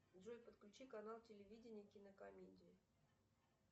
джой подключи канал телевидения кинокомедии